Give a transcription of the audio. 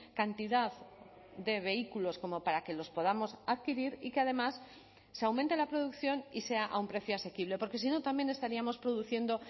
cantidad de vehículos como para que los podamos adquirir y que además se aumente la producción y sea a un precio asequible porque si no también estaríamos produciendo